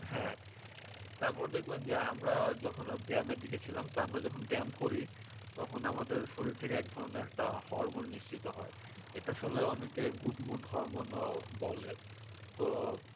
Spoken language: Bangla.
হ্যাঁ তারপর দেখবেন যে আমরা যখন ব্যায়ামের দিকে ছিলাম তখন আমরা যখন ব্যায়াম করি তখন আমাদের শরীর থেকে এক ধরনের একটা হরমোন নিঃসৃত হয় এটা আসলে অনেকে good mood হরমোনও বলে তো